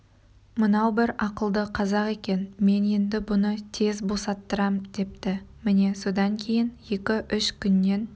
мынау бір ақылды қазақ екен мен енді бұны тез босаттырам депті міне содан кейін екі-үш күннен